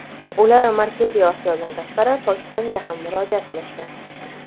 ular Markaziy Osiyodan tashqari Pokistonga ham murojaat qilishgan.